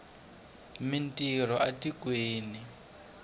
mi ntirho a tikweni